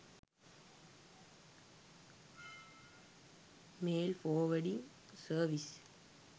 mail forwarding service